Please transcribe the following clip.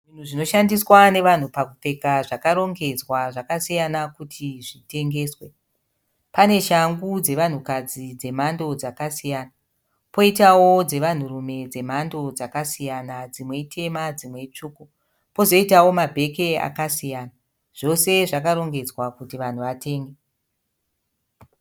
Zvinoshandiswa nevanhu pakupfeka zvakarongedzwa zvakasiyana kuti zvitengeswe. Pane shangu dzevanhukadzi dzemhando dzakasiyana, poitawo dzevanhurume dzemhando dzakasiyana dzimwe itema dzimwe itsvuku. Pozoitawo mabheki akasiyana. Zvose zvakarongedzwa kuti vanhu vatenge.